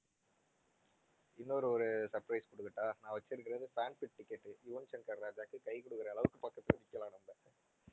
இன்னொரு ஒரு surprise குடுக்கட்டா? நான் வச்சிருக்குறது fans ticket யுவன் ஷங்கர் ராஜாவுக்கு கை குடுக்குற அளவுக்கு பக்கத்துல நிக்கலாம் நம்ம